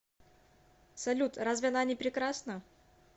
салют разве она не прекрасна